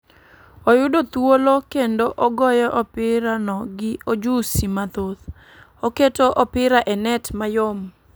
Oyudo thuolo kendo ogoyo opira no gi ojusi mathoth ,oketo opir e net mayom